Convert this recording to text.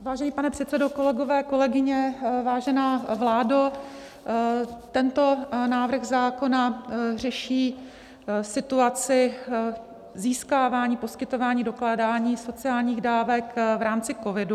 Vážený pane předsedo, kolegové, kolegyně, vážená vládo, tento návrh zákona řeší situaci získávání, poskytování, dokládání sociálních dávek v rámci covidu.